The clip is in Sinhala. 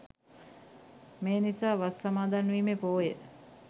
මේ නිසා වස් සමාදන්වීමේ පෝය